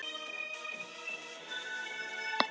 Kristján Már Unnarsson: Hvernig fer þetta af stað?